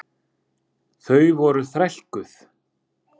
Þau voru þrælkuð.